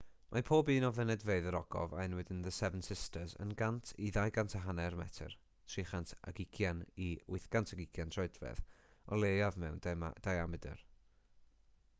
mae pob un o fynedfeydd yr ogof a enwyd yn the seven sisters yn 100 i 250 metr 320 i 820 troedfedd o leiaf mewn diamedr